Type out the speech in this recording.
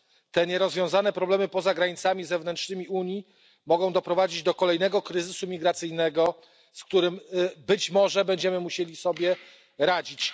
Te nierozwiązane problemy poza granicami zewnętrznymi Unii mogą doprowadzić do kolejnego kryzysu migracyjnego, z którym być może będziemy musieli sobie radzić.